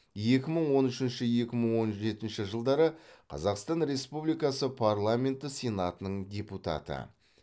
екі мың он үшінші екі мың он жетінші жылдары қазақстан республикасы парламенті сенатының депутаты